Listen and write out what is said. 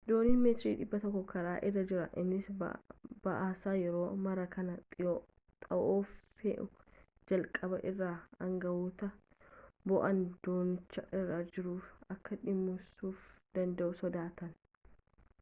dooniin meetira 100 karaa irra jira innis ba'aasaa yeroo maraa kan xaa'oo fe'u jalqaba irraa aangawootni bo'oon doonicha irra jiru akka dhimmisuu danda'u sodaatan